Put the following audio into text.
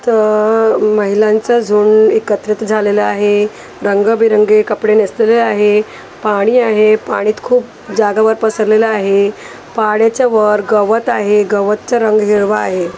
इथं महिलांचा झुंड एकत्रित झालेला आहे रंगीबेरंगी कपडे नेसलेले आहे पाणी आहे पाणी खूप जागेवर पसरलेलं आहे पाण्याच्या वर गवत आहे गवतचा रंग हिरवा आहे.